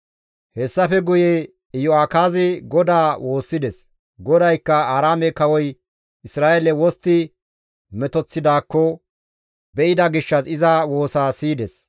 Hessafe guye Iyo7akaazi GODAA woossides; GODAYKKA Aaraame kawoy Isra7eele wostti metoththidaakko be7ida gishshas iza woosa siyides.